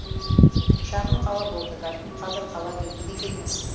шағын қала болды бәлкім қазір қала деуге де келмес